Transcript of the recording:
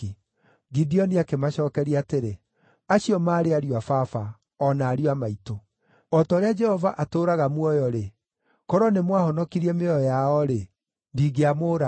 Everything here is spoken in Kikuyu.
Gideoni akĩmacookeria atĩrĩ, “Acio maarĩ ariũ a baba, o na ariũ a maitũ. O ta ũrĩa Jehova atũũraga muoyo-rĩ, korwo nĩmwahonokirie mĩoyo yao-rĩ, ndingĩamũũraga.”